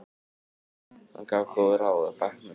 Hann gaf góð ráð á bekknum.